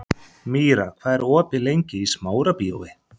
Míra, hvað er opið lengi í Smárabíói?